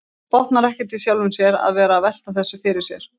Botnar ekkert í sjálfum sér að vera að velta þessu fyrir sér.